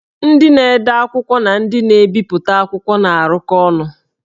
Ndị na-ede akwụkwọ na ndị na-ebipụta akwụkwọ na-arụkọ ọrụ